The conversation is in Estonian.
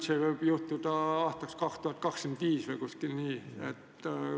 Hiljemalt võib see sulgemine aset leida aastal 2025 või umbes nii.